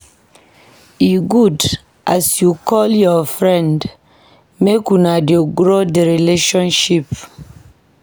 E good as you call your friend make una dey grow di friendship.